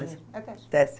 É teste. Teste.